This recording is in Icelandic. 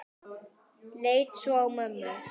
Leit svo á mömmu.